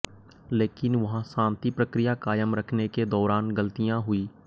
लेकिन वहां शांति प्रक्रिया कायम रखने के दौरान गलतियां हुईं